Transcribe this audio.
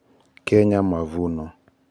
Kenya Mavuno (Mac 64) 1400 2000 3-5 9-13